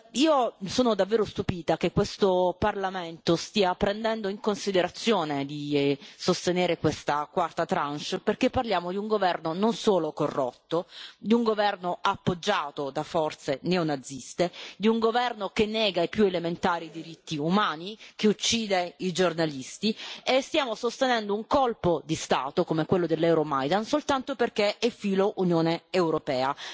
Io mi sono davvero stupita che questo Parlamento stia prendendo in considerazione di sostenere questa quarta tranche, perché parliamo di un governo non solo corrotto, di un governo appoggiato da forze neonaziste, di un governo che nega i più elementari diritti umani, che uccide i giornalisti, e stiamo sostenendo un colpo di Stato, come quello dell'Euromaidan, soltanto perché e filo Unione europea.